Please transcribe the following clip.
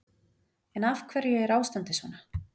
En af hverju er ástandið svona?